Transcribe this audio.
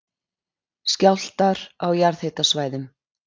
Skjálftar á jarðhitasvæðum